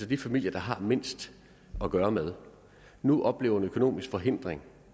de familier der har mindst at gøre med nu oplever en økonomisk forhindring